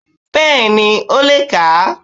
Bẹ́ẹ̀ni ó le è kà á